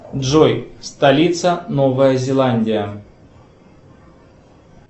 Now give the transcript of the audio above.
джой столица новая зеландия